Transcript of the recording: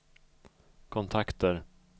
kontakter